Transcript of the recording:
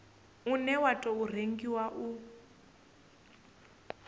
une wa tou rengiwa u